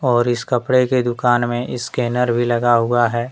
और इस कपड़े की दुकान में स्कैनर भी लगा हुआ है।